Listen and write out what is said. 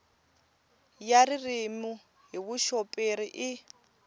ya ririmi hi vuxoperi i